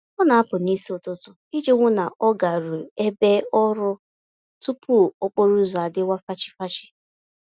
Ọ na-apụ n'isi ụtụtụ iji hụ na ọ garueu ebe ọrụ tupu okporo ụzọ adịwa fachi-fachi